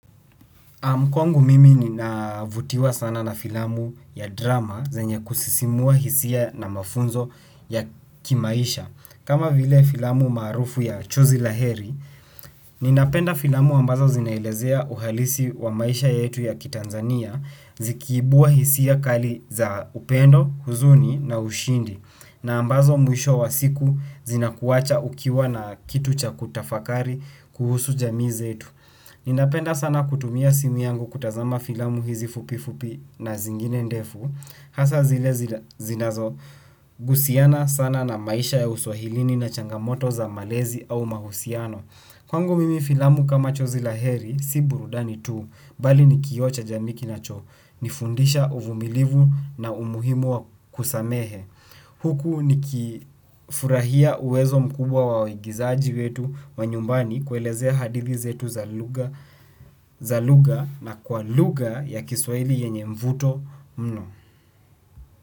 Kwangu mimi ninavutiwa sana na filamu ya drama zenye kusisimua hisia na mafunzo ya kimaisha. Kama vile filamu maarufu ya Chozi La heri, ninapenda filamu ambazo zinaelezea uhalisi wa maisha yetu ya kitanzania zikiibua hisia kali za upendo, huzuni na ushindi na ambazo mwisho wa siku zinakuwacha ukiwa na kitu cha kutafakari kuhusu jamii zetu. Ninapenda sana kutumia simu yangu kutazama filamu hizi fupi fupi na zingine ndefu. Hasa zile zinazohusiana sana na maisha ya uswahilini na changamoto za malezi au mahusiano kwangu mimi filamu kama chozi la heri si burudani tu bali ni kioo cha jamii kinachonifundisha uvumilivu na umuhimu wa kusamehe. Huku nikifurahia uwezo mkubwa wa waigizaji wetu wa nyumbani kuelezea hadithi zetu za lugha na kwa lugha ya kiswahili yenye mvuto mno.